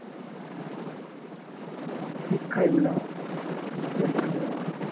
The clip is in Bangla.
শিক্ষাই হলো আমার এসব জানি আমি